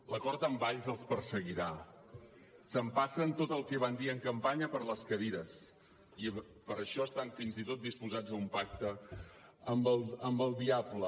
l’acord amb valls els perseguirà s’empassen tot el que van dir en campanya per les cadires i per això estan fins i tot disposats a un pacte amb el diable